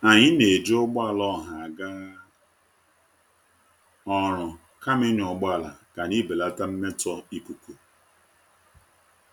Anyị na-eji ụgbọala ọha aga ọrụ kama ịnya ụgbọala ka anyị belata mmetọ ikuku.